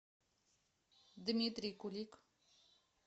дмитрий кулик